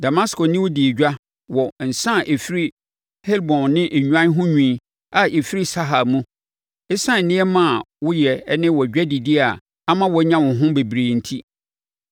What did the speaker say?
“ ‘Damasko ne wo dii edwa wɔ nsã a ɛfiri Helbon ne nnwan ho nwi a ɛfiri Sahar mu, ɛsiane nneɛma a woyɛ ne wʼadwadideɛ a ama woanya wo ho bebree enti.